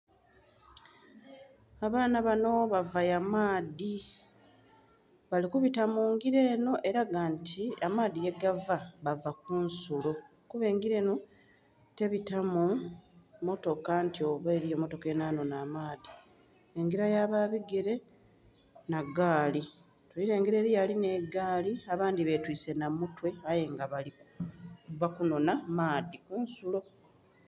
Abaana banho bava ya maadhi bali kubita mu ngila enho elaga nti amaadhi yegava bava kunsulo, kuba engila enho tebitamu mmotoka nti oba eliyo mmotoka enha nhonha amaadhi. Engila yaba bigere nha gaali, tuli lengela eliyo alina egaali abandhi betwise nha mutwe aye nga bali kuva kunhonha maadhi ku nsulo